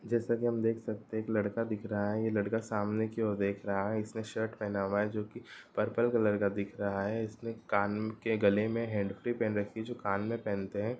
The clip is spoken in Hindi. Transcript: जैसा कि हम देख सकते हैं एक लड़का दिख रहा है| ये लड़का सामने की और देख रहा है| इसने शर्ट पहना हुआ है जो की पर्पल कलर का दिख रहा है| इसने कान के गले में हैंडफ्री भी पहन रखी है जो कान में पहनते हैं ।